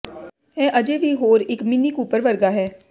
ਇਹ ਅਜੇ ਵੀ ਹੋਰ ਇੱਕ ਮਿੰਨੀ ਕੂਪਰ ਵਰਗਾ ਹੈ